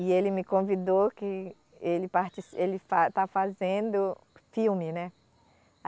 E ele me convidou que ele partici, ele fa, está fazendo filme, né?